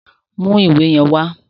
Mú ìwé yẹn wá!